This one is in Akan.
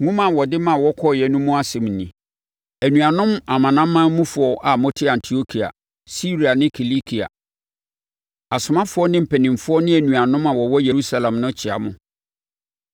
Nwoma a wɔde ma wɔkɔeɛ no mu nsɛm nie: Anuanom amanamanmufoɔ a mote Antiokia, Siria ne Kilikia, Asomafoɔ ne mpanimfoɔ ne anuanom a wɔwɔ Yerusalem no kyea mo.